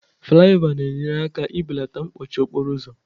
Flayova na-enyere aka belata mkpọchi okporo ụzọ